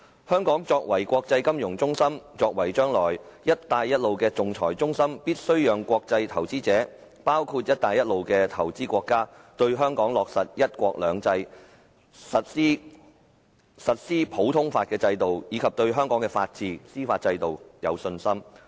香港作為國際金融中心，作為將來"一帶一路"的仲裁中心，必須讓國際投資者，包括"一帶一路"的投資國家對香港落實"一國兩制"、實施普通法制度及對香港的法治、司法制度有信心。